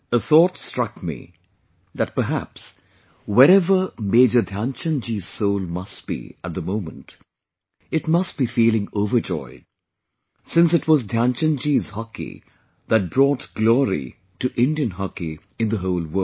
A thought struck me, that perhaps, wherever Major Dhyanchand ji's soul must be at the moment, it must be feeling overjoyed...since it was Dhyanchand ji's hockey that brought glory to Indian hockey in the whole world